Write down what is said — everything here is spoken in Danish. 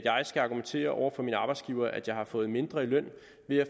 jeg skal argumentere over for min arbejdsgiver at jeg har fået mindre i løn